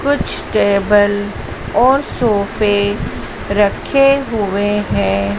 कुछ टेबल और सोफे रखे हुए हैं।